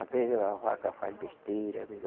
Às vezes a vaca faz besteira, às vezes